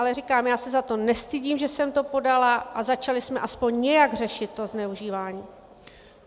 Ale říkám, já se za to nestydím, že jsem to podala, a začali jsme aspoň nějak řešit to zneužívání.